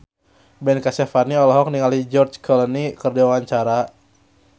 Ben Kasyafani olohok ningali George Clooney keur diwawancara